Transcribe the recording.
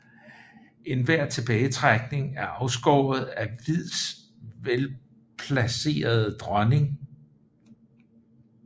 Enhver tilbagetrækning er afskåret af hvids velplacerede dronning